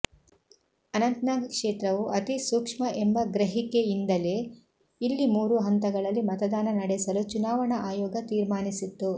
ಅನಂತನಾಗ್ ಕ್ಷೇತ್ರವು ಅತಿಸೂಕ್ಷ್ಮ ಎಂಬ ಗ್ರಹಿಕೆಯಿಂದಲೇ ಇಲ್ಲಿ ಮೂರು ಹಂತಗಳಲ್ಲಿ ಮತದಾನ ನಡೆಸಲು ಚುನಾವಣಾ ಆಯೋಗ ತೀರ್ಮಾನಿಸಿತ್ತು